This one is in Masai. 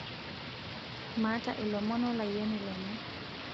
maata ilomon wo olayioni lenye